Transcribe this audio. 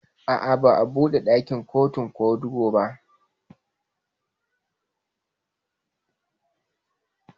A'a ba'a buɗe dakin kotu ko ba.